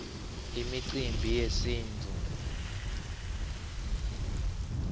imicimbi yesintfu